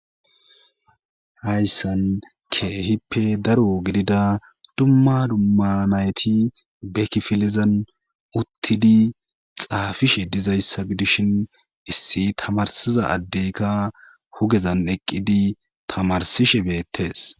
hayssan keehippe daro gidida dumma dumma nayti bekifilizan uttidi xaafishe dizayssa gidishin issi tamarsiza addeyka hugezan eqqidi tamarsishe beettees